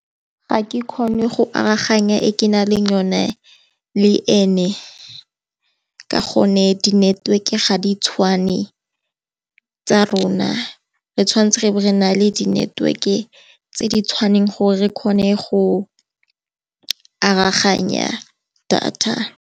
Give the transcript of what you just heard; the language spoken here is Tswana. Ga ke kgone go aroganya e ke nang le yone le ene, ka gonne di network-e ga di tshwane tsa rona, re tshwanetse re be re nale di network-e tse di tshwanang gore re kgone go aroganya data.